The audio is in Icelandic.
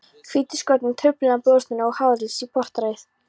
hvítuskort, truflun á blóðstorknun, háþrýsting í portæð.